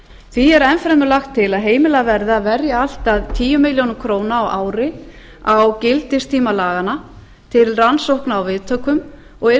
því er enn fremur lagt til að heimilað verði að verja allt að tíu milljónir króna á ári á gildistíma laganna til rannsókna á viðtökum og yrði